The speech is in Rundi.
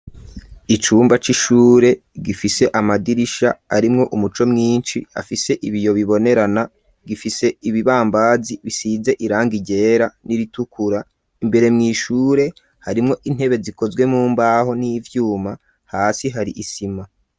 Icumba c'ishure gifise amadirisha arimwo umuco mwishi afise ibiyo bibonerana gifise ibibambazi bisize irangi ryera n'iritukura imbere mw'ishure harimwo intebe zikozwe mu mbaho n'ivyuma hasi hari isima.